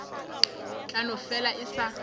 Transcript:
tla no fela e sa